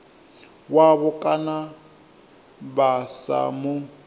wavho kana vha sa mu